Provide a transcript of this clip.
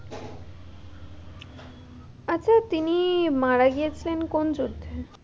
আচ্ছা তিনি মারা গিয়েছিলেন কোন যুদ্ধে?